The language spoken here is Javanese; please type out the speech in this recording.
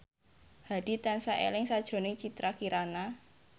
Hadi tansah eling sakjroning Citra Kirana